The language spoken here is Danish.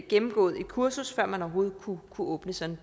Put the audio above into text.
gennemgået et kursus før man overhovedet kunne åbne sådan